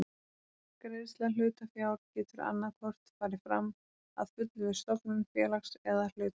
Greiðsla hlutafjár getur annað hvort farið fram að fullu við stofnun félags eða að hluta.